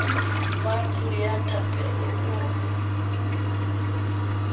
wa ntlo ya thapelo o